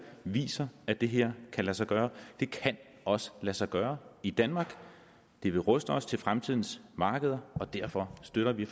viser at det her kan lade sig gøre det kan også lade sig gøre i danmark det vil ruste os til fremtidens markeder derfor støtter vi